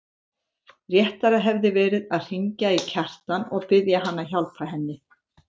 Réttara hefði verið að hringja í Kjartan og biðja hann að hjálpa henni.